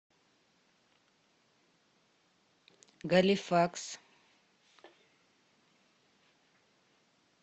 галифакс